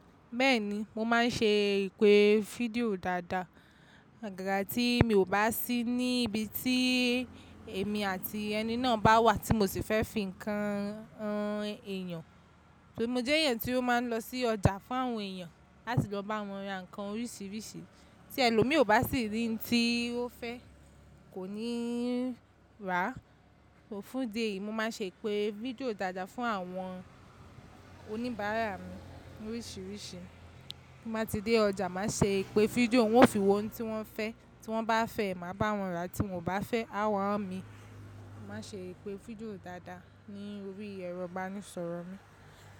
Bẹ́ẹ̀ni, mo máa ń ṣe ìpè fídíò dáadáa. Agagà tí mi ò bá sí ní ibi tí èmi àti ẹni náà bá wà tí mo sì fẹ́ fi ń kan han ẹyan. Mo jẹ́ ẹ̀yàn tí ó máa ń lọ sí ọjà fún àwọn èèyàn láti lọ bá wọn ra nǹkan oríṣiríṣi tí ẹlòmíì ò bá sì rí tí ó fẹ́ kò níí rà. Fún idi yìí, mo máa ṣe ìpè fídíò dáadáa fún àwọn oníbàárà mi ni oríṣiríṣi. Bí mo bá ti dé ọjà, màá ṣe ìpè fídíò, wọ́n ó fi wo ohun tí wọ́n fẹ́, tí wọ́n bá fẹ́, màá bá wọn rà, tí wọ́n ò bá fẹ́, á wá imi. Mo máa ṣe ìpè fídíò dáadáa ní orí ẹ̀rọ ìbánisọ̀rọ̀ mi.